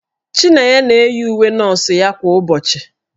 Chinenye na-eyi uwe ndị nọọsụ ya kwa ụbọchị.